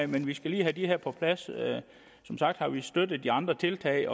men vi skal lige have de her ting på plads som sagt har vi støttet de andre tiltag